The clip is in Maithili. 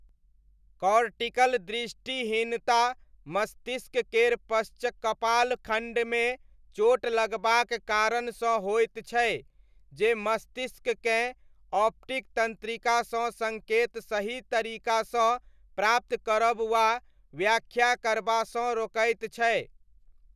कॉर्टिकल दृष्टिहीनता मस्तिष्क केर पश्चकपाल खण्डमे चोट लगबाक कारणसँ होइत छै, जे मस्तिष्ककेँ ऑप्टिक तन्त्रिकासँ सङ्केत सही तरीकासँ प्राप्त करब वा व्याख्या करबासँ रोकैत छै।